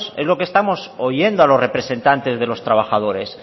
es lo que estamos oyendo a los representantes de los trabajadores